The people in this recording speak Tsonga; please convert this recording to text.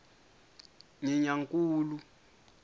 nyenyankulu